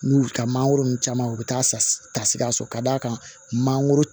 N'u y'u ka mangoro ninnu caman u bɛ taa tasi ka sɔrɔ ka d'a kan mangoro